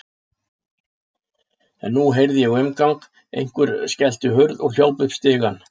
En nú heyrði ég umgang, einhver skellti hurð og hljóp upp stigann.